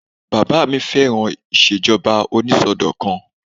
Bàbá mi fẹ́ràn ìṣèjọba onísọdọ̀kan